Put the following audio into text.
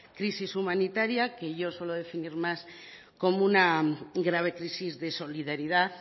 crisis humanitaria que yo suelo definir más como una grave crisis de solidaridad